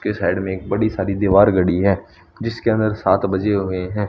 के साइड में एक बड़ी सारी दीवार घड़ी है जिसके अंदर सात बजे हुए है।